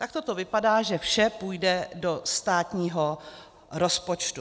Takto to vypadá, že vše půjde do státního rozpočtu.